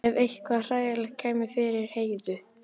Ef eitthvað hræðilegt kæmi fyrir Heiðu?